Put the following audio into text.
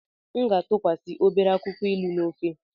M ga-atụkwasị obere akwụkwọ ilu na ofe.